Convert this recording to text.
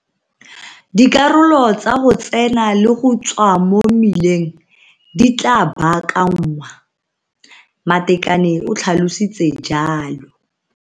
Dikarolo tsa go tsena le go tswa mo mmileng ono di tla baakanngwa, Matekane o tlhalositse jalo.